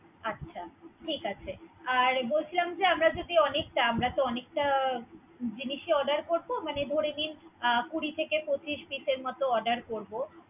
আচ্ছা ঠিক আছে বলছিলাম যে আমরা আমরা যদি অনেকটা, আমরা অনেকটা জিনিস Order করব, মানে ধরে নিন কুড়ি থেকে পচিশ Peace এর মত Order করব।